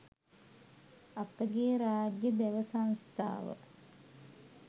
අපගේ රාජ්‍ය දැව සංස්ථාව